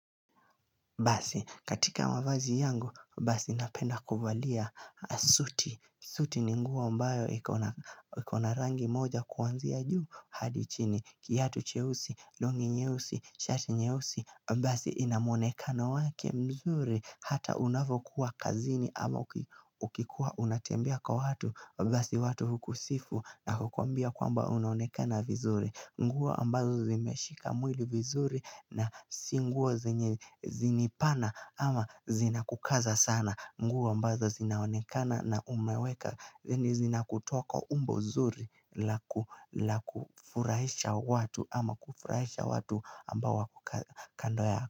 Basi, katika mavazi yangu, basi napenda kuvalia, suti, suti ni nguo ambayo ikona rangi moja kuanzia juu hadi chini, kiatu cheusi, long'i nyeusi, shati nyeusi, basi ina muonekano wake mzuri, hata unapokuwa kazini ama ukikuwa unatembea kwa watu, basi watu hukusifu na kukwambia kwamba unonekana vizuri nguo ambazo zimeshika mwili vizuri na si nguo zinanibana ama zinakukaza sana nguo ambazo zinaonekana na umeweka zenye zina kutoa kwa umbo nzuri la kufurahisha watu ama kufurahisha watu ambao wako kando.